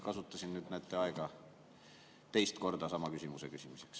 Kasutasin nüüd aega teist korda sama küsimuse küsimuseks.